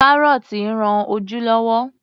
Kárọ́tí rán ojú lọ́wọ́.